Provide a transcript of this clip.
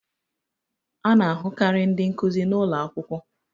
A na-ahụkarị ndị nkuzi n'ụlọ akwụkwọ